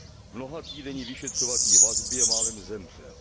V mnohatýdenní vyšetřovací vazbě málem zemřel.